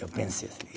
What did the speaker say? Eu pensei